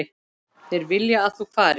Þeir vilja að þú farir.